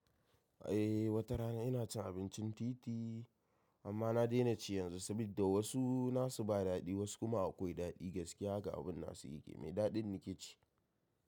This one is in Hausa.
Eh, wata rana ina cin abincin titi amma na daina ci yanzu sabida wasu nasu ba dadi wasu kuma akwai dadi gaskiya haka abin nasu yake. Mai dadin nake ci.